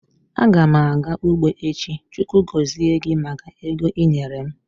Agam aga ugbo echi. Chukwu gozie gi maka ego ị nyere m.